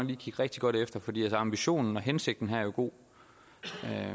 lige kigge rigtig godt efter fordi ambitionen og hensigten her er jo god